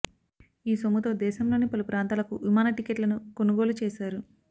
ఈ సొమ్ముతో దేశంలోని పలు ప్రాంతాలకు విమాన టిక్కెట్లను కొనుగోలు చేశారు